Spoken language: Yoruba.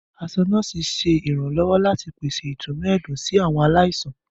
Aṣọ nọ́ọ̀sí ṣe iranlọwọ lati pese itunu ẹdun si awọn alaisan.